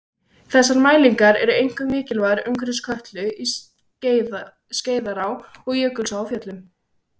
Þessar mælingar eru einkum mikilvægar umhverfis Kötlu, í Skeiðará og Jökulsá á Fjöllum.